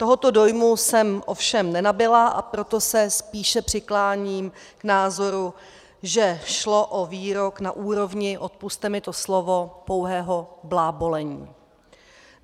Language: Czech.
Tohoto dojmu jsem ovšem nenabyla, a proto se spíše přikláním k názoru, že šlo o výrok na úrovni - odpusťte mi to slovo - pouhého blábolení.